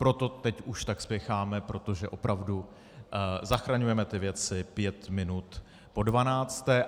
Proto teď už tak spěcháme, protože opravdu zachraňujeme ty věci pět minut po dvanácté.